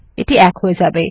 এটি ১ হয়ে যাবে